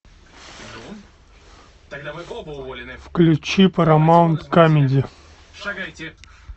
включи парамаунт камеди